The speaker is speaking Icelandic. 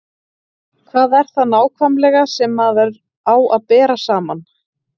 Hvað er það nákvæmlega sem maður á að bera saman?